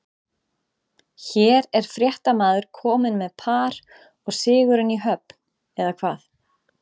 Hér er fréttamaður kominn með par og sigurinn í höfn, eða hvað?